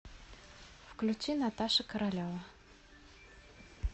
включи наташа королева